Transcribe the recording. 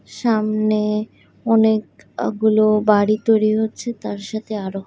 সামনে অনেকগুলো বাড়ি তৈরি হচ্ছে তার সাথে আরও--